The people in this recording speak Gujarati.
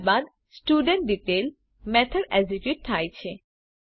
ત્યારબાદ સ્ટુડેન્ટડિટેઇલ મેથડ એક્ઝેક્યુટ થાય છે